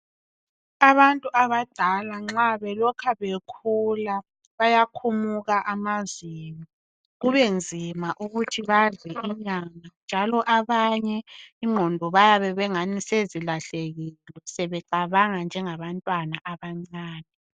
Abantu abadala nxa belokhe bekhula bayakhumuka amazinyo kubenzima ukuthi ukuthi badle inyama njalo abanye ingqondo bayabe bengani sezilahlekile sebecabanga njengabantwana abancane.